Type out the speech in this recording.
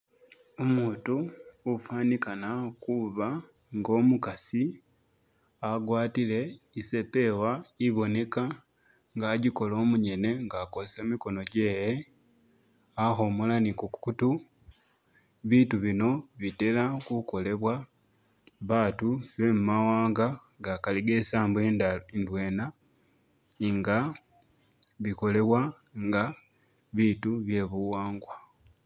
Umutu ufanikana kuuba nga umukasi agwatile isepewa iboneka nga ajikola umunyene nga akozesa mikono jewe ahomola ni kukutu biitu bino bitela kukolebwa baatu bemumawanga gakali gesambo idwena inga bikolewa nga biitu bye buwangwa.